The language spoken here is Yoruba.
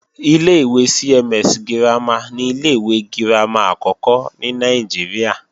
Ilé-ìwé CMS girama ni ilé-ìwé girama àkọ́kọ́ ní Nàìjíríà